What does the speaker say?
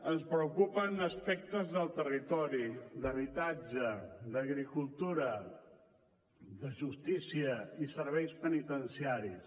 ens preocupen aspectes del territori d’habitatge d’agricultura de justícia i serveis penitenciaris